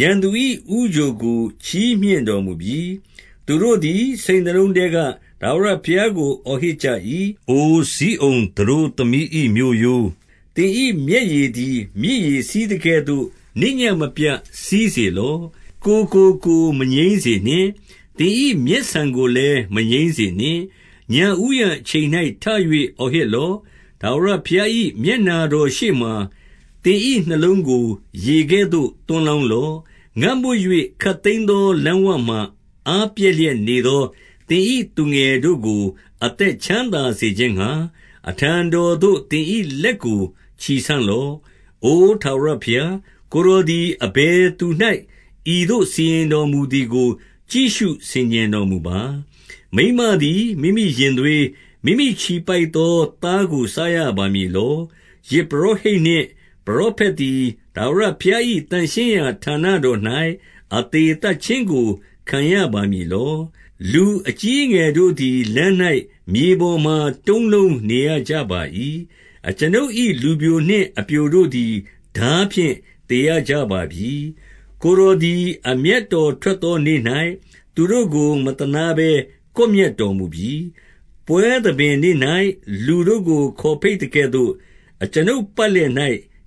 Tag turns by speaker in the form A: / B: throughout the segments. A: ရန်သူ၏ဦးချိုကို ချီးမြှင့်တော်မူပြီ။ 18 သူတို့သည်စိတ်နှလုံးထဲက ထာဝရဘုရားကို အော်ဟစ်ကြ၏။ အိုဇိအုန်သတို့သမီး၏မြို့ရိုး၊ သင်၏ မျက်ရည်သည် မြစ်ရေစီးသကဲ့သို့ နေ့ညဉ့်မပြတ်စီးစေ လော့။ ကိုယ်ကိုမငြိမ်းစေနှင့်။ သင်၏မျက်ဆန်ကိုလည်း မငြိမ်းစေနှင့်။ 19 ညဦးယံအချိန်၌ ထ၍အော်ဟစ်လော့။ ထာဝရ ဘုရား၏မျက်နှာတော်ရှေ့မှာ သင်၏နှလုံးကို ရေကဲ့သို့ သွန်းလောင်းလော့။ ငတ်မွတ်၍ ခပ်သိမ်းသော လမ်းဝမှာ အားပျက်လျက်နေသော သင်၏သူငယ်တို့ကို အသက် ချမ်းသာစေခြင်းငှါ၊ အထံတော်သို့ သင်၏လက်ကို ချီဆန့်လော့။ 20 အိုထာဝရဘုရား၊ ကိုယ်တော်သည် အဘယ်သူ၌ ဤသို့စီရင်တော်မူသည်ကို ကြည့်ရှုဆင်ခြင်တော်မူပါ။ မိန်းမသည် မိမိရင်သွေး၊ မိမိချီပိုက်သော သားကို စားရပါ မည်လော။ ယဇ်ပုရောဟိတ်နှင့် ပရောဖက်သည် ထာဝရ ဘုရား၏ သန့်ရှင်းရာဌာနတော်၌ အသေသတ်ခြင်းကို ခံရပါမည်လော။ 21 လူအကြီးအငယ်တို့သည် လမ်း၌မြေပေါ်မှာ တုံးလုံးနေရကြပါ၏။ အကျွန်ုပ်၏လူပျိုနှင့်အပျိုတို့သည် ထားဖြင့်သေရကြပါပြီ။ ကိုယ်တော်သည် အမျက်တော် ထွက်သောနေ့၌၊ သူတို့ကို မသနားဘဲကွပ်မျက်တော်မူပြီ။ 22 ပွဲသဘင်နေ့၌ လူတို့ကို ခေါ်ဘိတ်သကဲ့သို့၊ အကျွန်ုပ်ပတ်လည်၌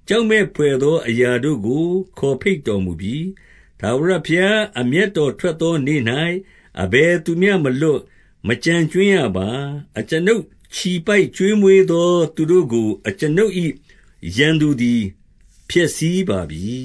A: ကြောက်မက်ဘွယ်သော အရာတို့ကို ခေါ်ဘိတ်တော်မူပြီ။ ထာဝရဘုရား အမျက်တော် ထွက် သောနေ့၌ အဘယ်သူမျှမလွတ်၊ မကျန်ကြွင်းရပါ။ အကျွန်ုပ်ချီပိုက်ကျွေးမွေးသော သူတို့ကို အကျွန်ုပ်၏ ရန်သူသည် ဖျက်ဆီးပါပြီ။